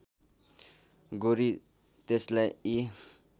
गोरी त्यसलाई यी